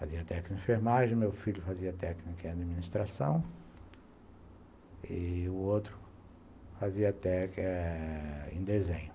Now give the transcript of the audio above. Fazia técnico em enfermagem, meu filho fazia técnico em administração e o outro fazia técnico em desenho.